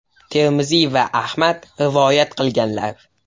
Termiziy va Ahmad rivoyat qilganlar.